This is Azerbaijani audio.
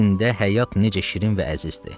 bu sində həyat necə şirin və əzizdir.